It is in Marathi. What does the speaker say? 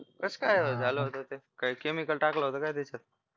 कसकाय झालं होत ते काही chemical टाकलं होत काय त्याच्यात